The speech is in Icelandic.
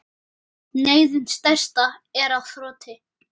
Neyðin stærsta er á þroti.